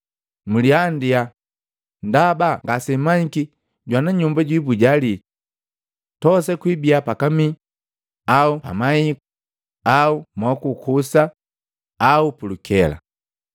Mliandia, ndaba ngasemmanyiki jwana nyumba jwibuja lii. Tosa kwibia pakamii au pamahiku au mokukusa au pulukela.